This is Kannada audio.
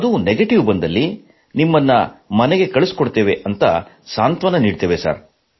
ಅದು ನೆಗಟಿವ್ ಬಂದಲ್ಲಿ ನಿಮ್ಮನ್ನು ಮನೆಗೆ ಕಳುಹಿಸುತ್ತೇವೆ ಎಂದು ಸಾಂತ್ವಾನ ನೀಡುತ್ತೇವೆ